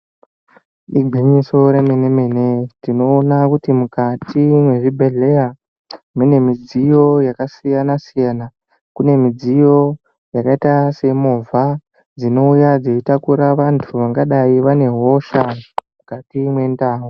Igwinyiso remenemene tinoona kuti mukati mwezvibhedhleya mune midziyo yakasiyana siyana kune midziyo yakaita semovha dzinouya dzichitakura vanthu vangadei vane hosha mukati mwendau.